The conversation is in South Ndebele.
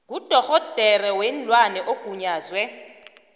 ngudorhodera weenlwana ogunyazwe